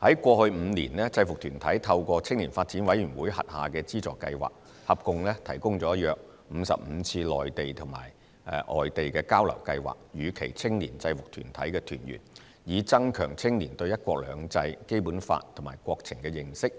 在過去5年，制服團體透過青年發展委員會轄下的資助計劃，合共提供了約55次內地或外地交流計劃予其青年制服團體團員，以增強青年對"一國兩制"、《基本法》及國情的認識，